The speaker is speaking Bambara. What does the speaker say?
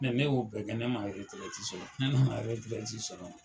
ne y'o bɛɛ kɛ ne ma sɔrɔ ne nana sɔrɔ